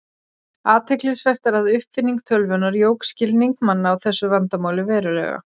Athyglisvert er að uppfinning tölvunnar jók skilning manna á þessu vandamáli verulega.